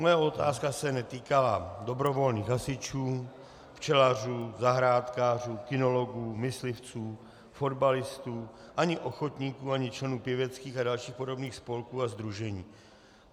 Moje otázka se netýkala dobrovolných hasičů, včelařů, zahrádkářů, kynologů, myslivců, fotbalistů, ani ochotníků, ani členů pěveckých a dalších podobných spolků a sdružení.